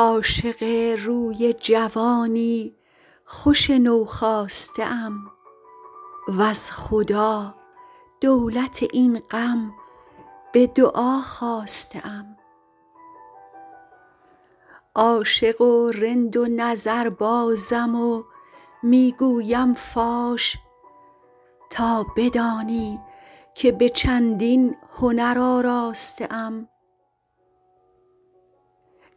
عاشق روی جوانی خوش نوخاسته ام وز خدا دولت این غم به دعا خواسته ام عاشق و رند و نظربازم و می گویم فاش تا بدانی که به چندین هنر آراسته ام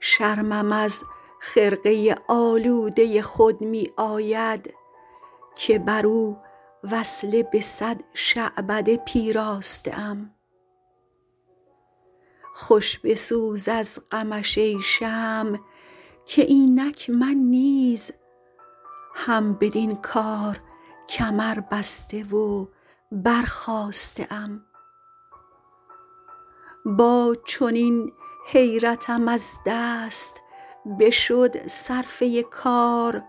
شرمم از خرقه آلوده خود می آید که بر او وصله به صد شعبده پیراسته ام خوش بسوز از غمش ای شمع که اینک من نیز هم بدین کار کمربسته و برخاسته ام با چنین حیرتم از دست بشد صرفه کار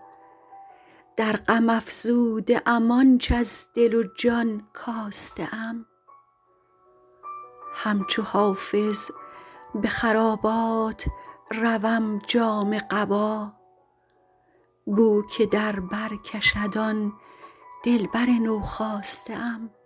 در غم افزوده ام آنچ از دل و جان کاسته ام همچو حافظ به خرابات روم جامه قبا بو که در بر کشد آن دلبر نوخاسته ام